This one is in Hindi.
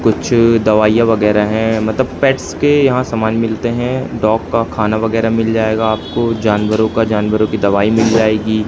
कुछ दवाइयां वगैरा है मतलब पेट्स के यहां समान मिलते हैं डॉग का खाना वगैरा मिल जाएगा आपको जानवरों का जानवरों की दवाई मिल जाएगी।